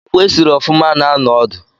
Akpụ esiri ofuma na-anọ odu